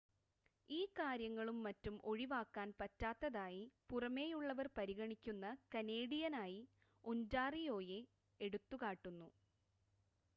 ഈ കാര്യങ്ങളും മറ്റും ഒഴിവാക്കാൻ പറ്റാത്തതായി പുറമേയുള്ളവർ പരിഗണിക്കുന്ന കനേഡിയനായി ഒൻ്റാറിയോയെ എടുത്തുകാട്ടുന്നു